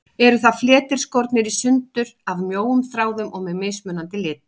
Eru það fletir, skornir í sundur af mjóum þráðum og með mismunandi litblæ.